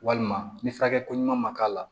Walima ni furakɛliko ɲuman ma k'a la